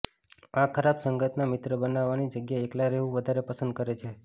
આ ખરાબ સંગતના મિત્ર બનાવવાની જગ્યા એક્લા રહેવું વધારે પસંદ કરે છે